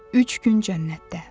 Üç gün cənnətdə.